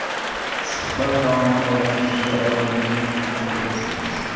Suhbat davomida shunga oydinlik kiritib o‘tsangiz?